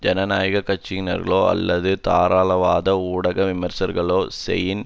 ஜனநாயக கட்சிகயினர்களோ அல்லது தாராளவாத ஊடக விமர்சகர்களோ செனியின்